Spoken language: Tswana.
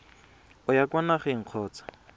o ya kwa nageng kgotsa